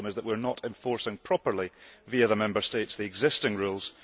the problem is that we are not enforcing properly, via the Member States, the existing rules.